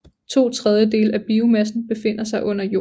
To tredjedele af biomassen befinder sig under jorden